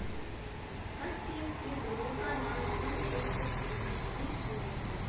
хотим игру команд манчестер сити и лестер